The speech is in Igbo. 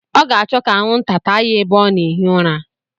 Ọ ga-achọ ka anwụnta taa ya ebe ọ na-ehi ụra.